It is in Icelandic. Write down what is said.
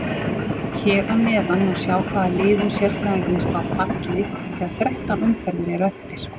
Hér að neðan má sjá hvaða liðum sérfræðingarnir spá falli þegar þrettán umferðir eru eftir.